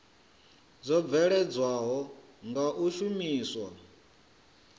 dzo bveledzwaho nga u shumiswa